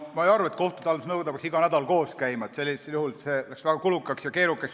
Ma ei arva, et kohtute haldamise nõukoda peaks iga nädal koos käima, see läheks väga kulukaks ja keerukaks.